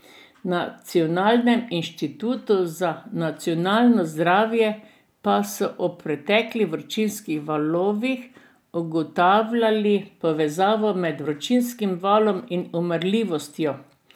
Na Nacionalnem inštitutu za nacionalno zdravje pa so ob preteklih vročinskih valovih ugotavljali povezavo med vročinskim valom in umrljivostjo.